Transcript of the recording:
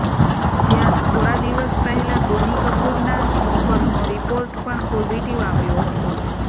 જ્યાં થોડા દિવસ પહેલા બોની કપૂરના નોકરનો રિપોર્ટ પણ પોઝિટિવ આવ્યો હતો